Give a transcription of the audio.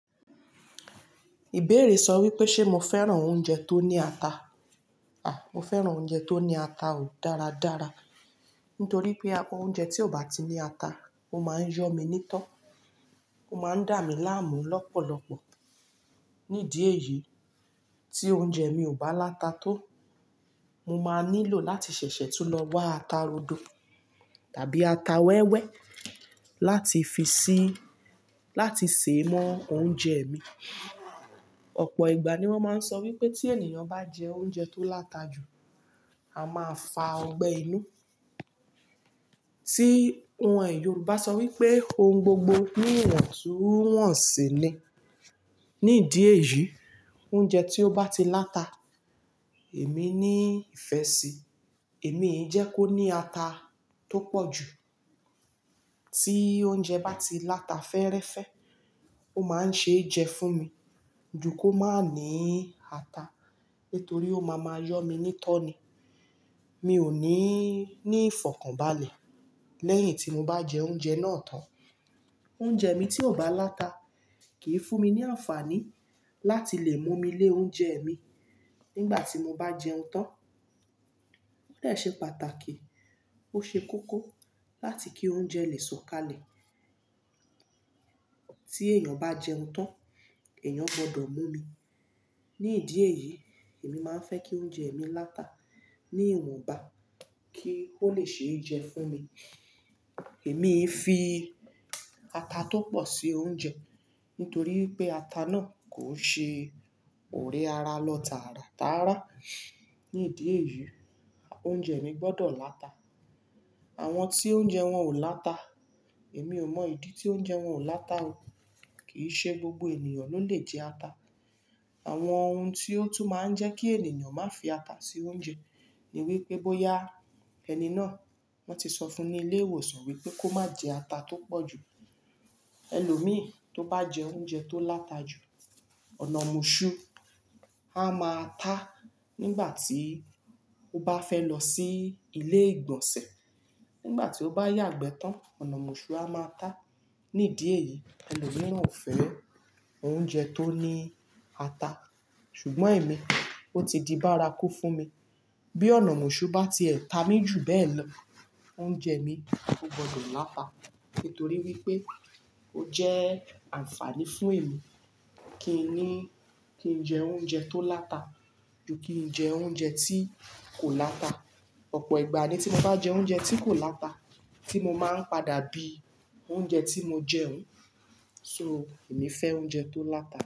Ìbéèrè sọ wípé ṣe mo fẹ́ràn oúnjẹ tó ní ata? Àh, mo fẹ́ràn oúnjẹ tó ní ata o dáradára. Nítorí pé oúnjẹ tí ò bá ti ní ata ó máa ń yọ́ mi nító. Ó máa ń dà mí láàmú lọ́pọ̀lọpọ̀. Nídìí èyí tí oúnjẹ mi ò bá láta tó, mo máa nílò láti ṣẹ̀ṣẹ̀ tún lọ wá ata rodo tàbí ata wẹ́wẹ́ láti fi si, láti sè mọ oúnjẹ mi. Ọ̀pọ̀ ìgbà ni wọ́n máa ń sọ wípé tí ènìyàn bá jẹ oúnjẹ tó láta jù, a máa fa ọgbẹ́ inú. Tí, Yorùbá sọ wípé "ohun gbogbo ní ìwọ̀ntúnwọ̀nsì ni." Nídìí èyí oúnjẹ tí ó bá ti láta, èmi ní ìfẹ́ sí i. Èmi ń jẹ́ kó ní ata tó pọ̀ jù. Tí oúnjẹ bá ti láta fẹ́ẹ́rẹ́fẹ́, ó máa ń ṣe é jẹ fún mi ju kó má ní ata. Nítorí ó máa ma yọ́ mi nító ni. Mi ò ní ní ìfọ̀kànbalẹ̀ lẹ́yìn tí mo bá jẹ oúnjẹ náà tán. Oúnjẹ mi tí ò bá láta kìí fún mi ní àǹfààní láti lè mú mi lé oúnjẹ mi nígbà tí mo bá jẹun tán. Ó de se pàtàkì, ó ṣe kókó láti kí oúnjẹ lè sọ̀kalẹ̀. Tí èèyàn bá jẹun tán, èèyàn gbọdọ̀ mú mí. Nídìí èyí èmi máa ń fẹ́ kí oúnjẹ mi láta ní ìwọ̀nba kí ó le ṣe é jẹ fún mi. Èmi i fi ata tó pọ̀ sí oúnjẹ nítorí pé ata náà kò n ṣe ọ̀rẹ́ ara lọ tàràtàrà. Nídìí èyí oúnjẹ mi gbọdọ̀ láta. Àwọn tí oúnjẹ wọn ò láta, èmi ò mọ ìdí tí oúnjẹ wọn ò láta o. Kìí ṣe gbogbo ènìyàn ló lè jẹ ata. Àwọn ohun tí ó tún máa ń jẹ́ kí ènìyàn má fi ata sí oúnjẹ ni wípé bóyá ẹni náà wọ́n ti sọ fún ni ilé ìwòsàn wípé kó má jẹ ata tó pọ̀ jù. Ẹlòmíì tó bá jẹ oúnjẹ tó láta jù, ọ̀nà mọ̀ṣú a máa tá nígbà tí ó bá fẹ́ lọ sí ilé ìgbọ̀nsẹ̀. Nígbà tí ó bá yagbẹ tán ọ̀nà mọ̀ṣú a máa tá. Nídìí èyí ẹlòmírán ò fẹ́ oúnjẹ tó ní ata. Sugbọ́n èmi ó ti di bárakú fún mi. Bí ọ̀nà mọ̀ṣú bá ti ẹ̀ta mi jù bẹ́ẹ̀ lọ, oúnjẹ mi ó gbọdọ̀ láta. Nítorí wípé ó jẹ́ àǹfààní fún èmi kí n ní, kí n jẹ oúnjẹ tó láta ju kí n jẹ oúnjẹ tí kò láta. Ọ̀pọ̀ ìgbà ni tí mo bá jẹ oúnjẹ tí kò láta tí mo máa ń padà bí oúnjẹ tí mo jẹ oun. So èmi fẹ́ oúnjẹ tó láta.